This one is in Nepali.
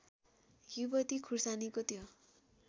युवती खुर्सानीको त्यो